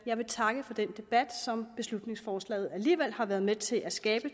jeg vil takke for den debat som beslutningsforslaget alligevel har været med til at skabe